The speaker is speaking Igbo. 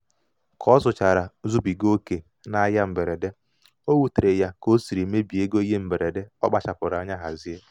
ka ọ zụchara zubiga oke n'ahịa mberede o wutere ya ka o siri mebie ego ihe mberede ọ kpachapụrụ anya hazie.